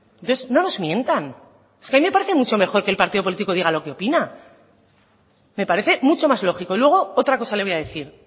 entonces no nos mientan a mí me parece mucho mejor que el partido político diga lo que opina me parece mucho más lógico luego otra cosa le voy a decir